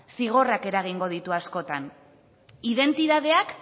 zigorrak eragingo ditu askotan identitateak